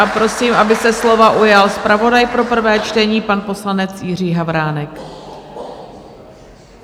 A prosím, aby se slova ujal zpravodaj pro prvé čtení pan poslanec Jiří Havránek.